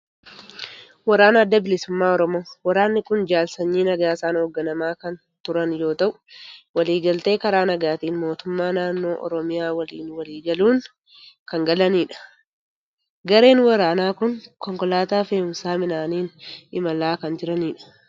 Waraana Adda Bilisummaa Oromoo. Waraanni kun jaal Sanyii Nagaasaan hoogganamaa kan turan yoo ta'u, walii galtee karaa nagaatiin mootummaa naannoo Oromiyaa waliin walii galuun kan galanidha. Gareen waraanaa kun konkolaataa fe'umsa midhaaniin imalaa kan jiranidha.